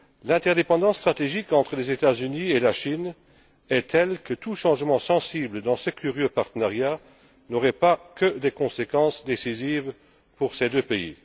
L'interdépendance stratégique entre les États Unis et la Chine est telle que tout changement sensible dans ce curieux partenariat ne toucherait pas, de manière décisive, que ces deux pays.